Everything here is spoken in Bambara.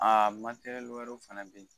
Aa wɛrɛw fɛnɛ be yen.